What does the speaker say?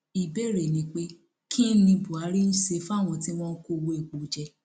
ìbéèrè ni pé kín ni buhari ń ṣe fáwọn tí wọn ń kó owó epo jẹ